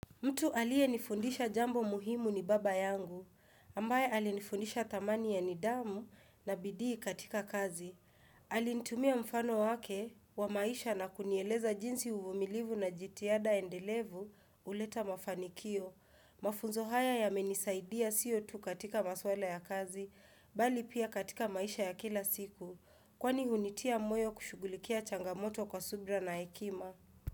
Mtu aliye nifundisha jambo muhimu ni baba yangu, ambaye alinifundisha thamani ya nidhamu na bidii katika kazi. Alinitumia mfano wake wa maisha na kunieleza jinsi uvumilivu na jitihada endelevu huleta mafanikio. Mafunzo haya yamenisaidia sio tu katika maswala ya kazi, bali pia katika maisha ya kila siku. Kwani hunitia moyo kushugulikia changamoto kwa subra na ekima.